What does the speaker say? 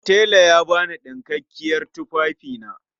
Tela ya ba ni ɗinkakkiyar tufafina.